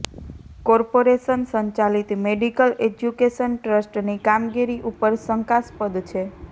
corporation સંચાલિત medical education ટ્રસ્ટની કામગીરી ઉપર શંકાસ્પદ છે